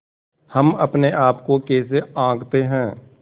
हम अपने आप को कैसे आँकते हैं